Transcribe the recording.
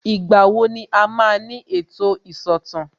Ìgbà wo ni a máa ní ètò ìsọ̀tàn